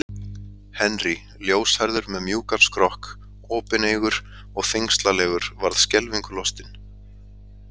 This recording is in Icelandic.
Henry, ljóshærður með mjúkan skrokk, opineygur og þyngslalegur, varð skelfingu lostinn.